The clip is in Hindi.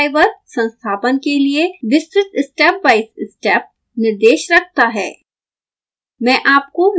यह गाइड ड्राईवर संस्थापन के लिए विस्तृत स्टेप बाइ स्टेप निर्देश रखता है